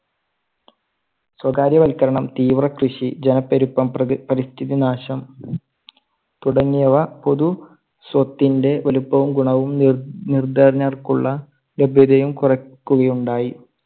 സ്വകാര്യവൽക്കരണം, തീവ്രകൃഷി, ജനപ്പെരുപ്പം, പരിസ്ഥിതി നാശം തുടങ്ങിയവ പൊതു സ്വത്തിന്റെ വലുപ്പവും ഗുണവും ന്~നിർദ്ധനർക്കുള്ള ലഭ്യതയും കുറയ്ക്കുകയുണ്ടായി.